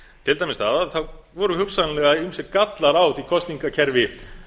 til dæmis það að það voru hugsanlega ýmsir gallar á því kosningakerfi